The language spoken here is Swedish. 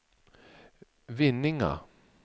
Vinninga